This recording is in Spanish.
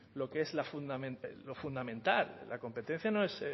lo que es lo fundamental la competencia no es